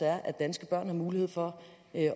er at danske børn har mulighed for